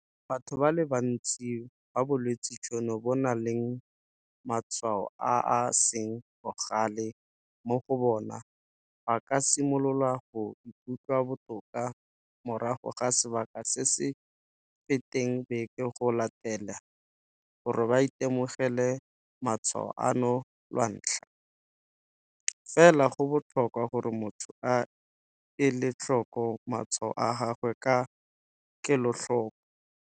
Batho ba le bantsi ba bolwetse jono bo nang le matshwao a a seng bogale mo go bona ba ka simolola go ikutlwa botoka morago ga sebaka se se sa feteng beke go latela gore ba itemogele matshwao ano lwantlha, fela go botlhokwa gore motho a ele tlhoko matshwao a gagwe ka kelotlhoko.